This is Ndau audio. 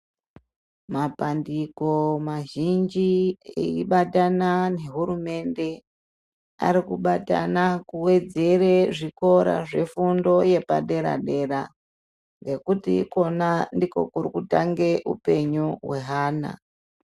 Mapandiko mazhinji eibatana nehurumende arikubatana kuwedzerwa zvikora zvefundo yepadera dera ngekuti ikona ndiko kurikutangira upenyu weana .